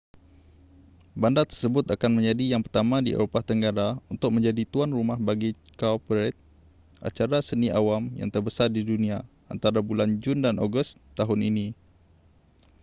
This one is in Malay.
bandar tersebut akan menjadi yang pertama di eropah tenggara untuk menjadi tuan rumah bagi cowparade acara seni awam yang terbesar di dunia antara bulan jun dan ogos tahun ini